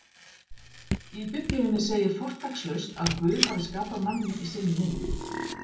Í Biblíunni segir fortakslaust að Guð hafi skapað manninn í sinni mynd: